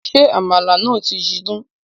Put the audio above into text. Ṣé àmàlà náà ti jiná